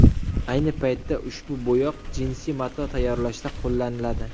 Ayni paytda ushbu bo‘yoq jinsi mato tayyorlashda qo‘llaniladi.